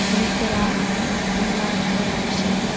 Hvorugt þeirra ætlar greinilega að tala af sér.